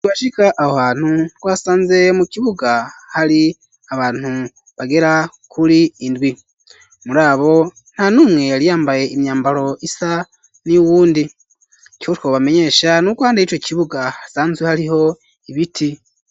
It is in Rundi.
Ibashika aho hantu twasanze mu kibuga hari abantu bagera kuri indwi, muri abo nta numwe yari yambaye imyambaro isa niy'uwundi, icotwo bamenyesha n'uko handa y'ico kibuga hasanzwe hariho ibiti.